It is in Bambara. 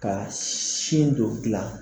Ka sin dɔ gilan